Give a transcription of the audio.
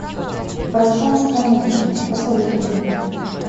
пространство музыки посоветуй мне